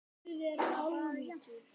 Það var jafnt.